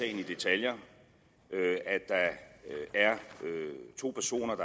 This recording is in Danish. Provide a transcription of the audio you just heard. i detaljer at der er to personer